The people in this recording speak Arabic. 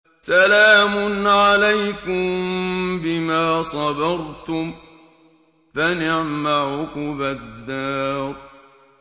سَلَامٌ عَلَيْكُم بِمَا صَبَرْتُمْ ۚ فَنِعْمَ عُقْبَى الدَّارِ